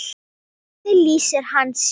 Hvernig lýsir hann sér?